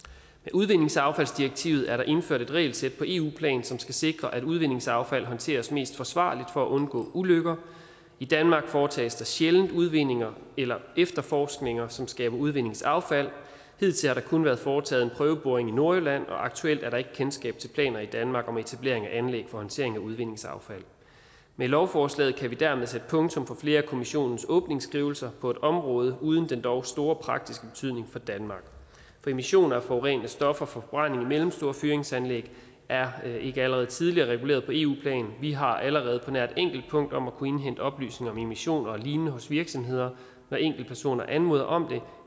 udvindingsaffaldsdirektivet er der indført et regelsæt på eu plan som skal sikre at udvindingsaffald håndteres mest forsvarligt for at undgå ulykker i danmark foretages der sjældent udvindinger eller efterforskninger som skaber udvindingsaffald hidtil har der kun været foretaget en prøveboring i nordjylland og aktuelt er der ikke kendskab til planer i danmark om etablering af anlæg for håndtering af udvindingsaffald med lovforslaget kan vi dermed sætte punktum for flere af kommissionens åbningsskrivelser på et område uden den dog store praktiske betydning for danmark for emission af forurenende stoffer og forbrænding i mellemstore fyringsanlæg er ikke allerede tidligere reguleret på eu plan vi har allerede på nær et enkelt punkt om at kunne indhente oplysninger om emissioner og lignende hos virksomheder når enkeltpersoner anmoder om det